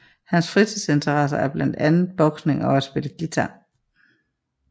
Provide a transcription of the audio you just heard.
Hans fritidsinteresser er blandt andre boksning og at spille guitar